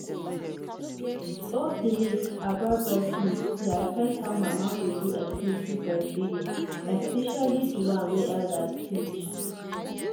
old belief about breast milk dey affect how mama go do exclusive breastfeeding especially the one wey elders teach.